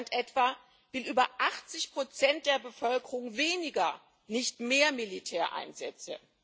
In Deutschland etwa wollen über 80 der Bevölkerung weniger, nicht mehr Militäreinsätze.